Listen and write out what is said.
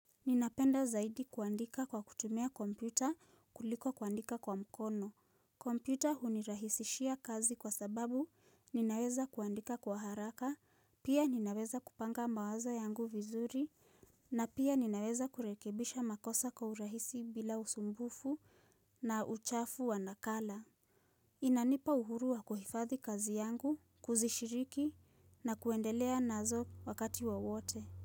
Ninapenda zaidi kuandika kwa kutumia kompyuta kuliko kuandika kwa mkono. Kompyuta hunirahisishia kazi kwa sababu ninaweza kuandika kwa haraka, pia ninaweza kupanga mawazo yangu vizuri, na pia ninaweza kurekebisha makosa kwa urahisi bila usumbufu na uchafu wa nakala. Inanipa uhurua kuhifadhi kazi yangu, kuzishiriki na kuendelea nazo wakati wa wowote.